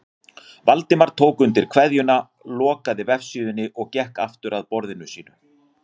Valdimar tók undir kveðjuna, lokaði vefsíðunni og gekk aftur að borðinu sínu.